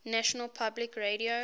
national public radio